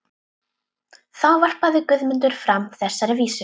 Þá varpaði Guðmundur fram þessari vísu: